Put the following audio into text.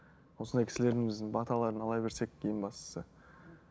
осылай кісілеріміздің баталарын ала берсек ең бастысы